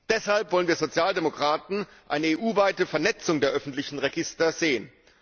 Deshalb wollen wir Sozialdemokraten eine EU weite Vernetzung der öffentlichen Register sehen.